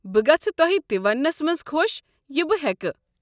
بہٕ گژھہٕ توہہِ تہِ وننس منز خوش یہِ بہٕ ہیكہٕ ۔